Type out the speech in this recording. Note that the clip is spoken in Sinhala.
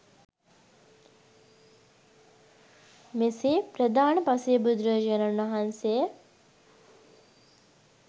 මෙසේ ප්‍රධාන පසේබුදුරජාණන් වහන්සේ